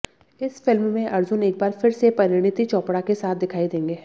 इस फिल्म में अर्जुन एक बार फिर से परिणीति चोपड़ा के साथ दिखाई देंगे